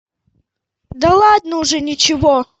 да ладно уже ничего